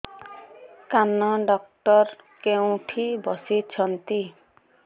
କାନ ଡକ୍ଟର କୋଉଠି ବସୁଛନ୍ତି